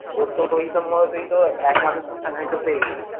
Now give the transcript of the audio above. তোর তো ঐ হিসেব মতো তুই তো একমাসের তো salary তো পেয়ে গেছিস।